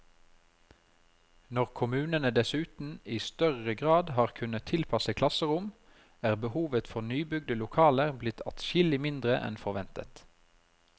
Når kommunene dessuten i større grad har kunnet tilpasse klasserom, er behovet for nybygde lokaler blitt adskillig mindre enn forventet.